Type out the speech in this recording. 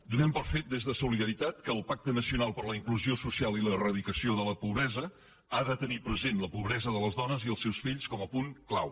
donem per fet des de solidaritat que el pacte nacional per a la inclusió social i l’eradicació de la pobresa ha de tenir present la pobresa de les dones i els seus fills com a punt clau